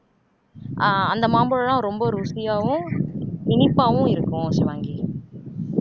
ஆஹ் அந்த மாம்பழம் எல்லாம் ரொம்ப ருசியாவும் இனிப்பாவும் இருக்கும் ஷிவாங்கி